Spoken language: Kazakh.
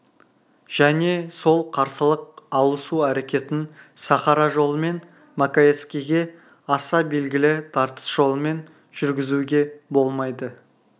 және сол қарсылық алысу әрекетін сахара жолымен маковецкийге аса белгілі тартыс жолымен жүргізуге болмайды